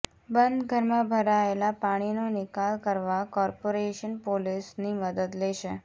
બંધ ઘરમાં ભરાયેલાં પાણીનો નિકાલ કરવા કોર્પાેરેશન પોલીસની મદદ લેશે